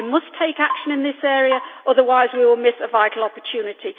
We must take action in this area, otherwise we will miss a vital opportunity.